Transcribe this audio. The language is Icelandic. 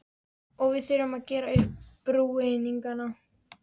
Og við þurfum að gera upp búreikningana!